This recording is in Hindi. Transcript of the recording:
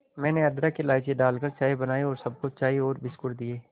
मैंने अदरक इलायची डालकर चाय बनाई और सबको चाय और बिस्कुट दिए